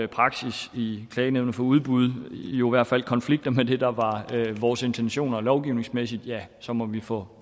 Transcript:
praksis i klagenævnet for udbud jo i hvert fald konflikter med det der var vores intentioner lovgivningsmæssigt ja så må vi få